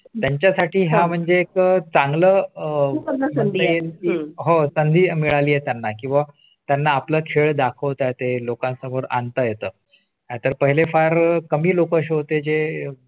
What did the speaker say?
त्यांच्या साठी हा म्हणजे एक चांगलं. अं आहे. हो सदी मिळाली येताना किंवा त्यांना आपला खेळ दाखवता ते लोकांसमोर आणता येतात तर पहिले फार कमी लोक असे होते जे